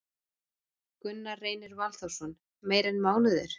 Gunnar Reynir Valþórsson: Meira en mánuður?